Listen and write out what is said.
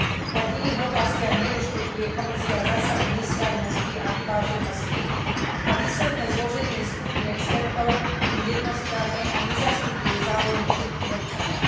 Aj v iných oblastiach nerešpektuje Komisia zásadu nestrannosti a vyváženosti a výsledné zloženie skupín expertov je jednostranné a nezastupuje záujmy všetkých občanov.